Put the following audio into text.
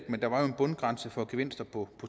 men der var en bundgrænse for gevinster på